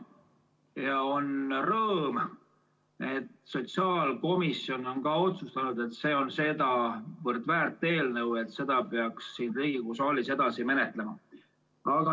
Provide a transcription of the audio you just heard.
Ja on rõõm, et sotsiaalkomisjon on ka otsustanud, et see on sedavõrd väärt eelnõu, et seda peaks siin Riigikogu saalis edasi menetlema.